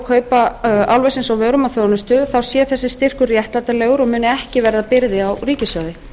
kaupa álversins á vörum og þjónustu þá sé þessi styrkur réttlætanlegur og muni ekki verða byrði á ríkissjóði